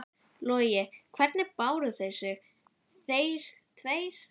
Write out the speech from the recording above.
Logi: Hvernig báru þeir sig, þeir tveir?